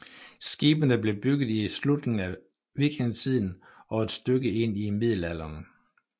Skibene blev bygget i slutningen vikingetiden og et stykke ind i middelalderen